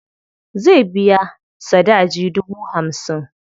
Zai biya sadaji dubu hamsin.